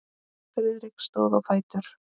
Friðrik stóð á fætur.